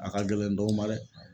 A ka gɛlɛn dɔw ma dɛ.